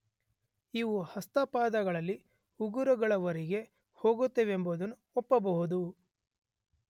ಇವು ಹಸ್ತಪಾದಗಳಲ್ಲಿ ಉಗುರುಗಳವರೆಗೆ ಹೋಗುತ್ತವೆಂಬುದನ್ನು ಒಪ್ಪಬಹುದು.